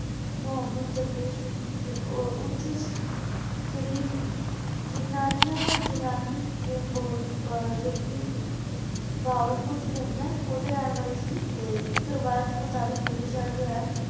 ਮੁਹਮ੍ਮਦ ਦਰਵੇਸ਼ ਚ ਊ ਓਛ ਸ਼ਰੀਫ਼ ਗਿਲ੍ਲਾਨਿਆ ਗਿਲ੍ਲਾਨੀ ਜੋ ਕੀ ਬਹਾਵਲਪੁਰ ਚ ਪੈਂਦਾ ਆਯ ਓਦੇ ਰੇਹਾਨ ਵਾਲੇ ਸੀ ਤੇ ਏਇਕ ਰਵਾਯਤ ਮੁਤਾਬਿਕ ਭੁੱਲੇ ਸ਼ਾਹ ਜੋ ਹੈ